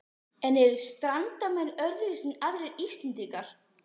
En eru Strandamenn öðruvísi en aðrir Íslendingar?